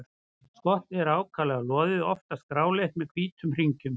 Skottið er ákaflega loðið, oftast gráleitt með hvítum hringjum.